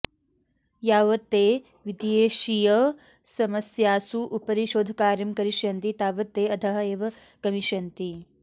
यावत् ते विदेशीयसमस्यासु उपरि शोधकार्यं करिष्यन्ति तावत् ते अधः एव गमिष्यन्ति